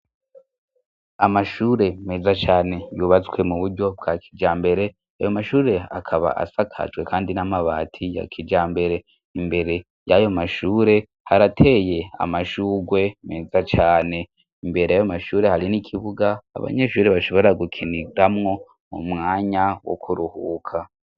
Amashure meza cane yubatswe mu buryo bwa kija mbere ayo mashure akaba asakajwe, kandi n'amabati ya kija mbere imbere y'ayo mashure harateye amashurwe meza cane imbere ayo mashure hari n'ikibuga abanyeshure bashobora gukiniramwo mu mwanya wo kuruhuka.